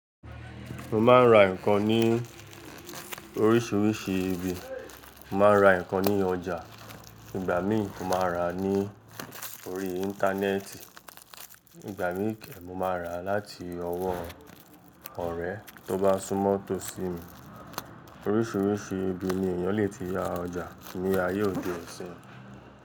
Mo máa ń ra nǹkan ní oríṣiríṣi ibi. Mo máa ń ra nǹkan ní ọjà, ìgbà míì mo máa ra ní orí Íńtánẹ́ẹ̀tì, ìgbà mí kẹ́ mo máa rà á láti ọwọ́ ọ̀rẹ́ tó bá súnmọ́ to sí mi. Oríṣiríṣi ibi ni ènìyàn le ti ra ọjà ní ayé òde ọ̀sín.